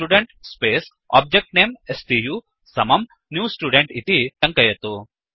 student space object name स्तु समं new student इति टङ्कयतु